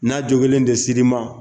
N'a jokilen de sir'i ma.